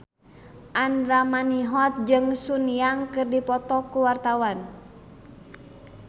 Andra Manihot jeung Sun Yang keur dipoto ku wartawan